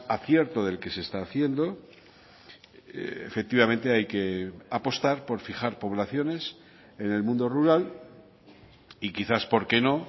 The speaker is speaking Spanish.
acierto del que se está haciendo efectivamente hay que apostar por fijar poblaciones en el mundo rural y quizás por qué no